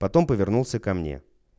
потом повернулся ко мне